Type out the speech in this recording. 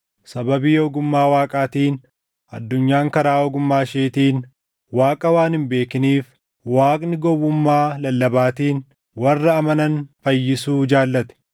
Sababii ogummaa Waaqaatiin addunyaan karaa ogummaa isheetiin Waaqa waan hin beekiniif, Waaqni gowwummaa lallabaatiin warra amanan fayyisuu jaallate.